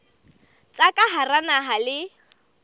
tsa ka hara naha le